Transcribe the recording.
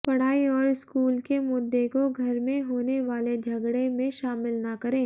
पढ़ाई और स्कूल के मुद्दे को घर में होने वाले झगड़े में शामिल न करें